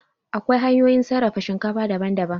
Akwai hanyoyin sarrafa shinkafa daban daban